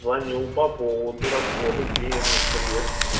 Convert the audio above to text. звонил по поводу расходов денежных средств